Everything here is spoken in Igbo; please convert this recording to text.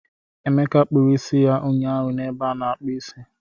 Emeka kpụrụ isi ya ụnyaahụ na ebe a na-akpụ isi